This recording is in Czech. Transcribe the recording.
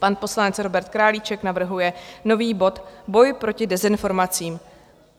Pan poslanec Robert Králíček navrhuje nový bod - Boj proti dezinformacím.